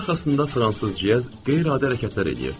Masa arxasında fransız ciyəz qeyri-adi hərəkətlər eləyirdi.